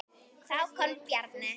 Þá kom Bjarni.